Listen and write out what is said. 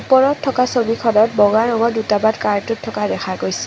ওপৰত থকা ছবিখনত বগা ৰঙৰ দুটামান কাৰ্টুন থকা দেখা গৈছে।